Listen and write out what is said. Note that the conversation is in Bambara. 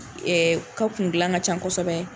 Ɛɛ ko kundilan ka ca kosɛbɛ